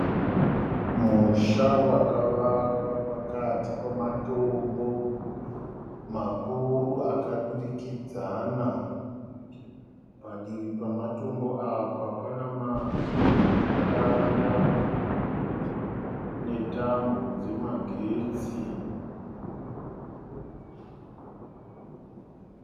Musha wakavakwa pakati pematombo makuru akadurikadzana . Padivi pematombo apa pana matanda netambo dzemagetsi